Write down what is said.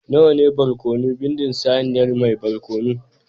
Nawa ne barkono bindin saniyar mai barkono ku